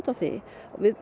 á því